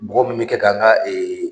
Bɔgɔ munnu be kɛ k'an ga ee